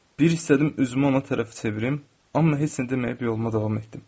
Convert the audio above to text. Bir istədim üzümü ona tərəf çevirim, amma heç nə deməyib yoluma davam etdim.